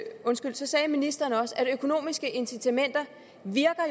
så sagde ministeren også at økonomiske incitamenter